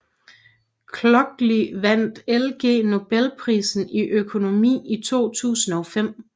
Clocky vandt Ig Nobelprisen i økonomi i 2005